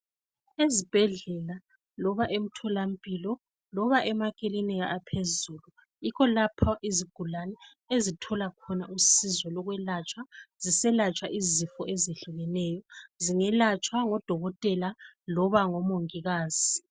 Ezibhedlela loba emtholampilo loba emakilinika aphezulu, yikho lapho izigulane ezithola khona usizo lokwelatshwa, ziselatshwa izifo ezihlukeneyo. Zingelatshwa ngodokotela, loba ngomongikazi.